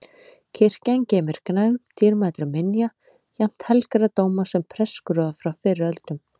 Kirkjan geymir gnægð dýrmætra minja, jafnt helgra dóma sem prestaskrúða frá fyrri öldum.